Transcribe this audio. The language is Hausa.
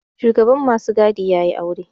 Shugaban masu gadi ya yi aure